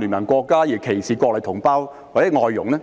聯盟"國家的人而歧視內地同胞或外傭呢？